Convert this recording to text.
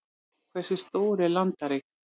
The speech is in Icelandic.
hversu stór er landareign